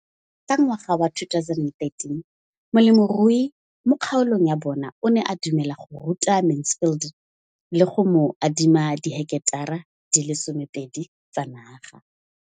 Ka ngwaga wa 2013, molemirui mo kgaolong ya bona o ne a dumela go ruta Mansfield le go mo adima di heketara di le 12 tsa naga.